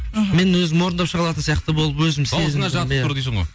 мен өзім орындап шыға алатын сияқты болып өзім сезіндім